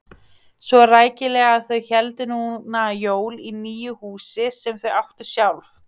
Svo rækilega að þau héldu núna jól í nýju húsi sem þau áttu sjálf.